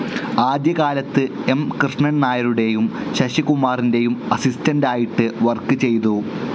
ആദ്യ കാലത്ത് എം കൃഷ്ണൻ നായരുടേയും ശശികുമാറിന്റേയും അസിസ്റ്റന്റ്‌ ആയിട്ട് വർക്ക്‌ ചെയ്തു.